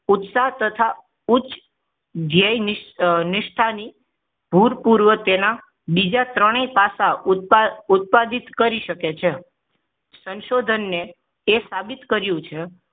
ઉત્સાહ તથા ઉચ્ચ ધ્યેયનિષ્ઠા ની ભૂતપૂર્વ તેના બીજા ત્રણે પાસા ઉત્પાદ ઉત્પાદિત કરી શકે છે સંશોધન એ સાબિત કર્યું છે